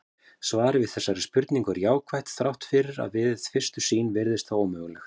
Svarið við þessari spurningu er jákvætt þrátt fyrir að við fyrstu sýn virðist það ómögulegt.